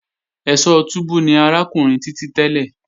Ẹ̀sọ́ túbú ni arákùnrin Títí tẹ́lẹ̀